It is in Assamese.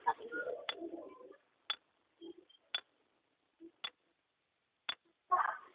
কা